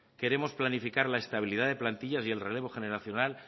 queremos planificar la estabilidad de plantilla y el relevo generacional